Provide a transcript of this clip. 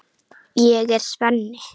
Ég er Svenni.